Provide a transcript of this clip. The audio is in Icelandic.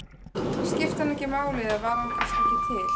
Skipti hann ekki máli eða var hann kannski ekki til?